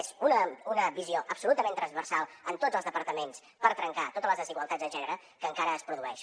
és una visió absolutament transversal en tots els departaments per trencar totes les desigualtats de gènere que encara es produeixen